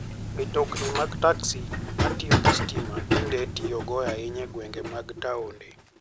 Mtokni mag taksi ma tiyo gi stima tinde itiyogo ahinya e gwenge mag taonde.